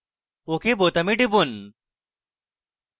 ok বোতামে টিপুন